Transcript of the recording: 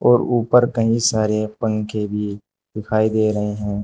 और ऊपर कई सारे पंखे भी दिखाई दे रहे हैं।